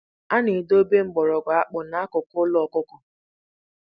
A na-edobe mgbọrọgwụ akpụ n'akụkụ ụlọ ọkụkọ.